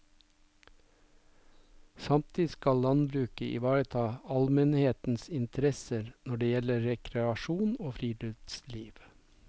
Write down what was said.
Samtidig skal landbruket ivareta allmennhetens interesser når det gjelder rekreasjon og friluftsliv.